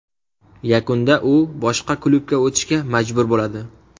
Yakunda u boshqa klubga o‘tishga majbur bo‘ladi.